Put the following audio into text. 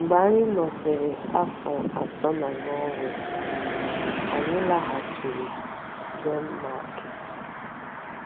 Mgbe anyị nọsịrị afọ atọ na Nọọwee, anyị laghachiri Denmarki.